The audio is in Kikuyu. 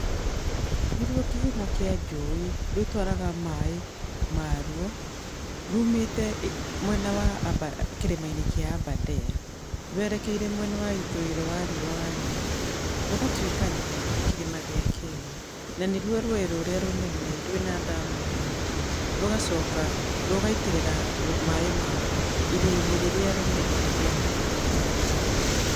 Nĩ ruo kĩhumo kĩa njũĩ. Rũtwaraga maĩ ma rwo, rumĩte mwena wa kĩrĩma-inĩ kĩa Aberdare rwerekeire mwena wa ithũĩro wa riũa wa Nyeri, rũgatuĩkania kĩrĩma gĩa Kenya. Na nĩ ruo rũĩ rũrĩa rũnene rwĩna ndamu nyingĩ. Rũgacoka rũgaitĩrĩra maĩ ma ruo iria-inĩ rĩrĩa rĩnene rĩa kĩindiana.